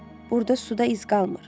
Burda suda iz qalmır.